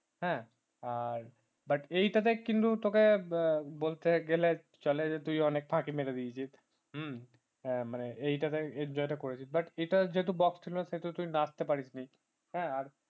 হ্যাঁ আর but এইটাতে কিন্তু তোকে বলতে গেলে চলে যে তুই অনেক ফাঁকি মেরে দিয়েছিস হ্যাঁ মানে এইটাতে enjoy টা করেছিস but এটা যেহেতু box ছিলনা সেহেতু তুই নাচতে পারিস নি হ্যাঁ আর